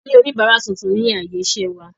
A ní oníbárà tuntun ni ààyè iṣẹ́ wa.